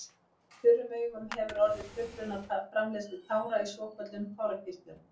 Í þurrum augum hefur orðið truflun á framleiðslu tára í svokölluðum tárakirtlum.